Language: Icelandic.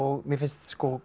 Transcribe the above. mér finnst